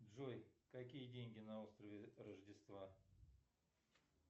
джой какие деньги на острове рождества